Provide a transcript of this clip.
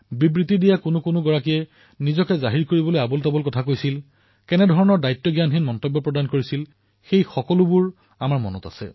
কিছুমান বক্তাই নিজৰ উপস্থিতি জাহিৰ কৰিবলৈ কি কি কথা কৈছিল কেনেধৰণৰ দায়িত্বজ্ঞানহীন কথা কৈছিল সেয়া আমাৰ সকলোৰে মনত আছে